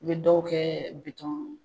U bi dɔw kɛ